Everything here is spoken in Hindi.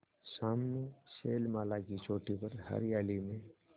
सामने शैलमाला की चोटी पर हरियाली में